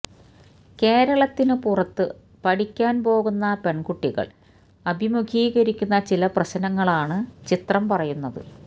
കേരളത്തിന് പുറത്ത് പഠിക്കാൻ പോകുന്ന പെൺകുട്ടികൾ അഭിമുഖീകരിക്കുന്ന ചില പ്രശ്നങ്ങളാണ് ചിത്രം പറയുന്നത്